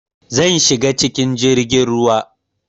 Zan shiga cikin jirgin ruwa